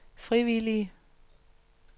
frivillige